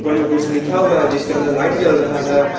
उपर मे कुछ लिखा हुआ है जिसके अंदर लाइट जल रहा है।